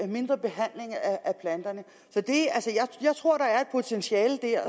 mindre behandling så jeg tror der er et potentiale der